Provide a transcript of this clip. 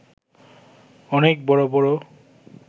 অনেক বড় বড়